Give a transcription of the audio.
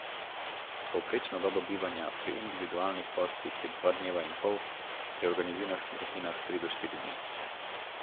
Povprečna doba bivanja pri individualnih gostih je dva dneva in pol, pri organiziranih skupinah tri do štiri dni.